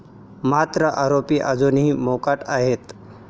मात्र आरोपी अजूनही मोकाट आहेत.